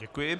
Děkuji.